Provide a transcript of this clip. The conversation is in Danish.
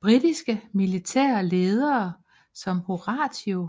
Britiske militære ledere som Horatio